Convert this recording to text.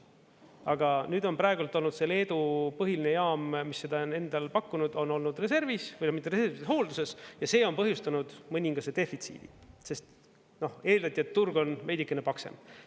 Aga nüüd on praegu olnud see Leedu põhiline jaam, mis seda on endal pakkunud, on olnud reservis või mitte reservis, vaid hoolduses ja see on põhjustanud mõningase defitsiidi, sest eeldati, et turg on veidikene paksem.